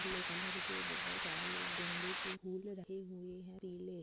Yellow colour के बोहोत सारे गेंदे के फूल रहे हुए हैं । पीले--